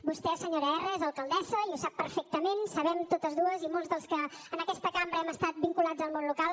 vostè senyora erra és alcaldessa i ho sap perfectament sabem totes dues i molts dels que en aquesta cambra hem estat vinculats al món local